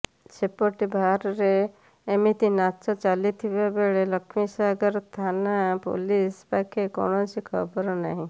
ସେପଟେ ବାର୍ରେ ଏମିତି ନାଚ ଚାଲିଥିବା ନେଇ ଲକ୍ଷ୍ମୀସାଗର ଥାନା ପୁଲିସ ପାଖେ କୌଣସି ଖବର ନାହିଁ